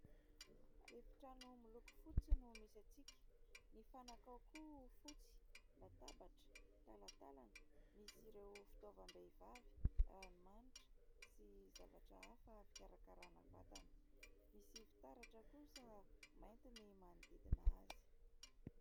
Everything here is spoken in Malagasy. Efitrano miloko fotsy no misy antsika. Ny fanaka ao koa fotsy, latabatra, talantalana misy ireo fitaovam-behivavy ranomanitra sy zavatra hafa fikarakarana vatana. Misy fitaratra kosa mainty ny manodidina azy.